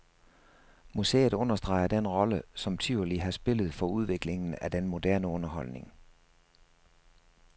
Museet understreger den rolle, som tivoli har spillet for udviklingen af den moderne underholdning.